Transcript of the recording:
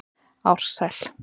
Ársæl